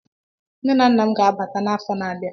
Nne na nna m ga-abata n'afọ na-abia.